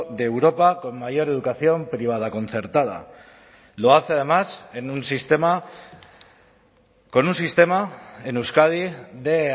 de europa con mayor educación privada concertada lo hace además en un sistema con un sistema en euskadi de